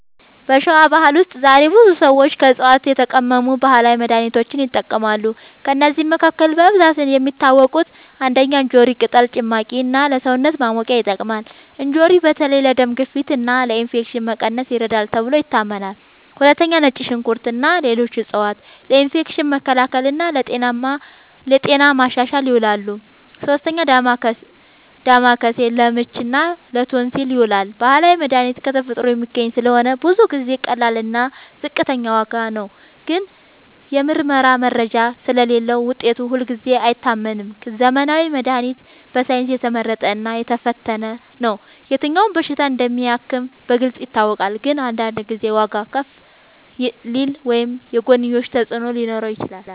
በሸዋ ባህል ውስጥ ዛሬም ብዙ ሰዎች ከዕፅዋት የተቀመሙ ባህላዊ መድሃኒቶችን ይጠቀማሉ። ከእነዚህ መካከል በብዛት የሚታወቁት፦ ፩. እንጆሪ ቅጠል ጭማቂ እና ለሰውነት ማሞቂያ ይጠቅማል። እንጆሪ በተለይ ለደም ግፊት እና ለኢንፌክሽን መቀነስ ይረዳል ተብሎ ይታመናል። ፪. ነጭ ሽንኩርት እና ሌሎች ዕፅዋት ለኢንፌክሽን መከላከል እና ለጤና ማሻሻል ይውላሉ። ፫. ዳማከሴ ለምች እና ለቶንሲል ይዉላል። ባህላዊ መድሃኒት ከተፈጥሮ የሚገኝ ስለሆነ ብዙ ጊዜ ቀላል እና ዝቅተኛ ዋጋ ነው። ግን የምርመራ መረጃ ስለሌለዉ ውጤቱ ሁልጊዜ አይታመንም። ዘመናዊ መድሃኒት በሳይንስ የተመረጠ እና የተፈተነ ነው። የትኛው በሽታ እንደሚያክም በግልጽ ይታወቃል። ግን አንዳንድ ጊዜ ዋጋዉ ከፍ ሊል ወይም የጎንዮሽ ተፅዕኖ ሊኖረው ይችላል።